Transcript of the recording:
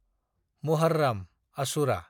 Muharram (Ashura)